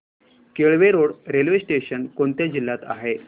Kelve road railway station कोणत्या जिल्ह्यात आहे